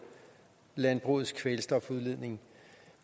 landbrugets kvælstofudledning